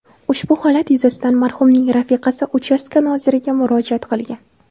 Ushbu holat yuzasidan marhumning rafiqasi uchastka noziriga murojaat qilgan.